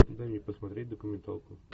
дай мне посмотреть документалку